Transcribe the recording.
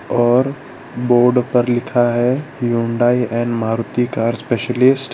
और बोर्ड पर लिखा है Hyundai and Maruti car specialist --